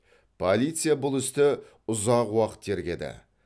полиция бұл істі ұзақ уақыт тергеді